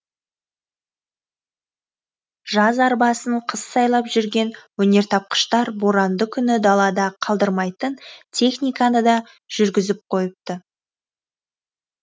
жаз арбасын қыс сайлап жүрген өнертапқыштар боранды күні далада қалдырмайтын техниканы да жүргізіп қойыпты